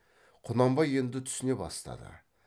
құнанбай енді түсіне бастады